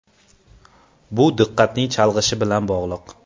Bu diqqatning chalg‘ishi bilan bog‘liq.